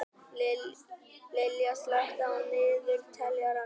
Liljá, slökktu á niðurteljaranum.